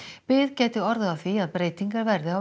bið gæti orðið á því að breytingar verði á